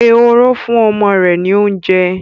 Ehoro fún ọmọ rẹ̀ ní oúnjẹ.